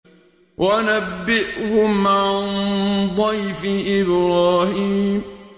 وَنَبِّئْهُمْ عَن ضَيْفِ إِبْرَاهِيمَ